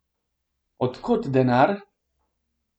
Od kod denar?